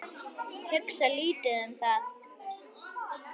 Hugsa lítið um það.